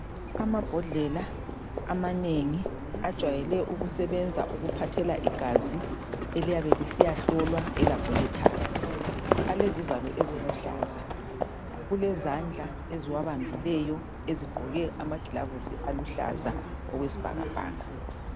Amabhodlela amanengi ajwayele ukusebenza ukuphathela igazi eliyabe lisiyahlolwa elabholethari. Alezivalo eziluhlaza. Kulezandla eziwabambileyo ezigqoke amagilavisi aluhlaza okwesibhakabhaka.